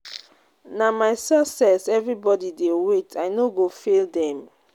Na my success everybodi dey wait, I no go fail dem.